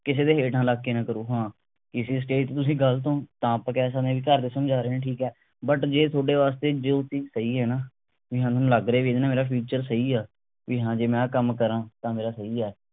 ਕਿਸੇ ਦੇ ਹੇਠਾਂ ਲੱਗਕੇ ਨਾ ਕਰੋ ਹਾਂ ਕਿਸੇ ਵੀ stage ਤੇ ਤੁਸੀਂ ਗਲਤ ਹੋ ਤਾਂ ਆਪਾਂ ਕਹਿ ਸਕਦੇ ਹੈ ਵੀ ਘਰ ਦੇ ਸਮਝਾ ਰਹੇ ਨੇ ਠੀਕ ਹੈ but ਜੇ ਥੋਡੇ ਵਾਸਤੇ ਜੋ ਕੁਝ ਸਹੀ ਹੈ ਨਾ ਵੀ ਜੇ ਥੋਨੂੰ ਲੱਗ ਰਿਹੇ ਵੀ ਇਹਦੇ ਨਾਲ ਮੇਰਾ future ਸਹੀ ਆ ਵੀ ਹਾਂ ਜੇ ਮੈਂ ਆਹ ਕੰਮ ਕਰਾਂ ਤਾਂ ਮੇਰਾ ਸਹੀ ਆ